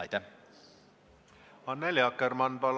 Annely Akkermann, palun!